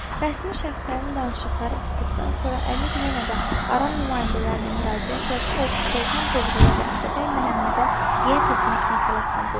Rəsmi şəxslərin danışıqları bitdikdən sonra əmir yenə də Aran nümayəndələrinə müraciətlə Sultan Toğrula və Atabəy Məhəmmədə biyət etmək məsələsini qoydu.